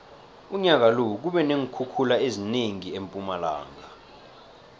unyaka lo kube neenkhukhula ezinengi empumalanga